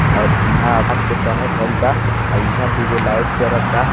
यहाँ यहाँ रात के समय भईलबा और यहाँ दुगो लाइट जलाता।